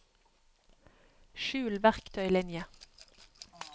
skjul verktøylinje